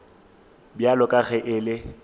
bjalo ka ge e le